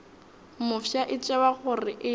mofsa e tšewa gore e